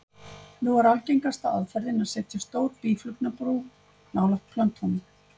Nú er algengasta aðferðin að setja stór býflugnabú nálægt plöntunum.